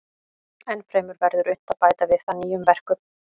Ennfremur verður unnt að bæta við það nýjum verkum.